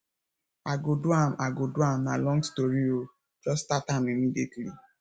i go do am i go do am na long story o jus start am immediately